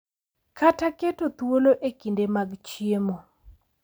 Kata keto thuolo e kinde mag chiemo .